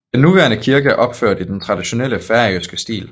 Den nuværende kirke er opført i den traditionelle færøske stil